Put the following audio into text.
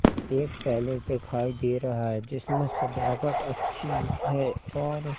एक पहले दिखाई दे रहा है जिसमें सजावट अच्छी हुई है और--